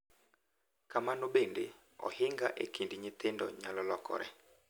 Kamano bende, ohinga e kind nyithindo nyalo lokore .